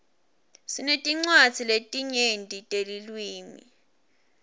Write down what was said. sinetincwadzi letinyenti netilwimi